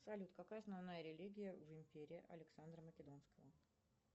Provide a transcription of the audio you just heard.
салют какая основная религия в империи александра македонского